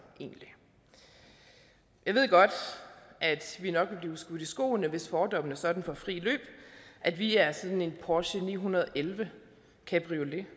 egentlig jeg ved godt at vi nok vil blive skudt i skoene hvis fordommene sådan får frit løb at vi er sådan en porsche ni hundrede og elleve cabriolet